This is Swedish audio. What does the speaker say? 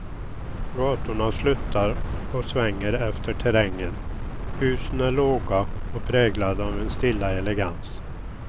Gatorna sluttar och svänger efter terrängen, husen är låga och präglade av en stilla elegans.